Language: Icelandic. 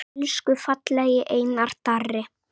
Elsku fallegi Einar Darri.